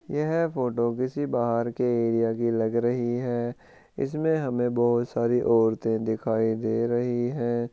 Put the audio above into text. यह फोटो किसी बाहर के एरिया की लग रही है इसमें हमे बहुत सारी औरते दिखाई दे रही है।